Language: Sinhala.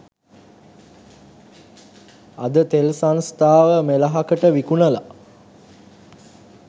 අද තෙල් සංස්ථාව මෙලහකට විකුණලා